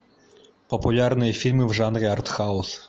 популярные фильмы в жанре арт хаус